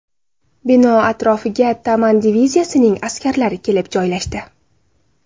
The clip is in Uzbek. Bino atrofiga Taman diviziyasining askarlari kelib joylashdi.